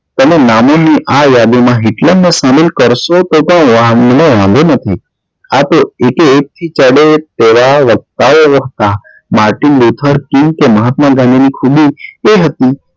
તેના નામો ની યાદી માં ન Hitler શામિલ ક્રરશો તો પણ વાંધો મને નથી આતે એકે એક થી ચડે તેવા વક્તા ઓ હતા મહાત્મા ગાંધી ની ખૂબી એ હતી